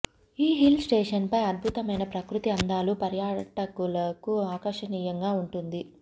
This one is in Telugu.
ఈ హిల్ స్టేషన్ పై అద్భుతమైన ప్రకృతి అందాలు పర్యాటకులకు ఆకర్షణియంగా ఉంటుంది